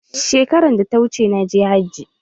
Shekaran da ta wuce, na je hajji.